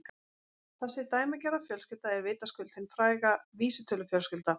Þessi dæmigerða fjölskylda er vitaskuld hin fræga vísitölufjölskylda.